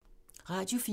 Radio 4